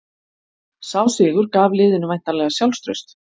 Sá sigur gaf liðinu væntanlega sjálfstraust